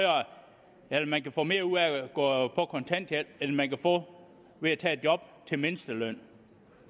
at man kan få mere ud af at gå på kontanthjælp end man kan få ved at tage et job til mindstelønnen